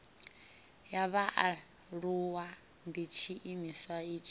ya vhaaluwa ndi tshiimiswa tshi